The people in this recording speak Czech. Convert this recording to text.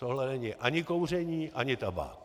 Tohle není ani kouření ani tabák.